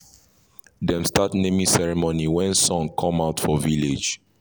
dem start naming ceremony wen sun come out for village